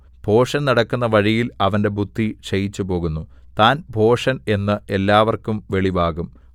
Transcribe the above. ഭോഷൻ നടക്കുന്ന വഴിയിൽ അവന്റെ ബുദ്ധി ക്ഷയിച്ചുപോകുന്നു താൻ ഭോഷൻ എന്ന് എല്ലാവർക്കും വെളിവാക്കും